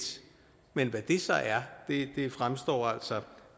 men hvad det så er fremstår altså